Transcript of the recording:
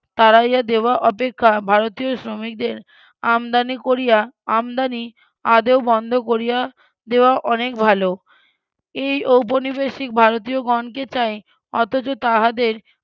তাড়াইয়া দেওয়া অপেক্ষা ভারতীয় শ্রমিকদের আমদানি করিয়া আমদানি আদেও বন্ধ করিয়া দেওয়া অনেক ভালো এই উপনিবেশিক ভারতীয়গণকে চাই অথচ তাহাদের